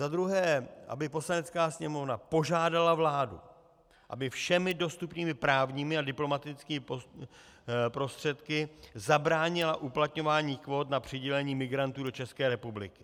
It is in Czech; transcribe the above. Za druhé, aby Poslanecká sněmovna požádala vládu, aby všemi dostupnými právními a diplomatickými prostředky zabránila uplatňování kvót na přidělení migrantů do České republiky.